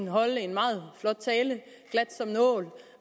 holdt en meget flot tale